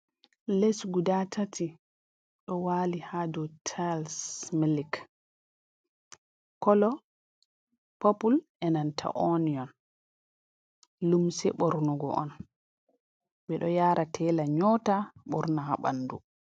Les guda tati ɗo waali haa dow tiles milik kolo purple bee nanta onion, limse ɓornugo on ɓe ɗo yaara teela nyoota ɓoorna haa ɓanndu.